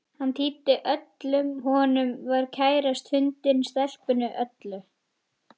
Hann týndi öllu sem honum var kærast, hundinum, stelpunni, öllu.